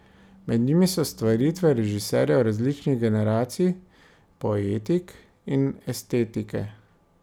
Med njimi so stvaritve režiserjev različnih generacij, poetik in estetike.